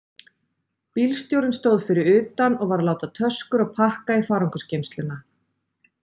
Bílstjórinn stóð fyrir utan og var að láta töskur og pakka í farangursgeymsluna.